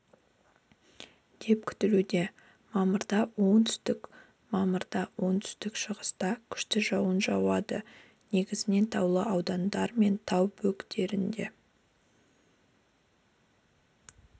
деп күтілуде мамырда оңтүстікте мамырда оңтүстік-шығыста күшті жауын жауады негізінен таулы аудандар мен тау бөктерлерінде